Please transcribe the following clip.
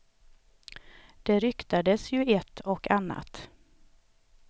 Det ryktades ju ett och annat.